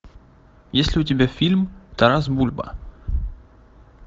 есть ли у тебя фильм тарас бульба